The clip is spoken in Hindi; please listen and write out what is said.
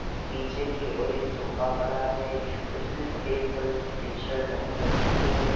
नीचे की ओर एक सोफ़ा पड़ा है। उसने सफेद कलर की टी-शर्ट पहन रखी है।